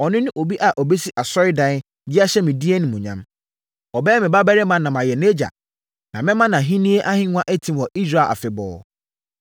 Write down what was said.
Ɔno ne obi a ɔbɛsi asɔredan, de ahyɛ me din animuonyam. Ɔbɛyɛ me babarima na mayɛ nʼagya. Na mɛma nʼahennie ahennwa atim wɔ Israel afebɔɔ.’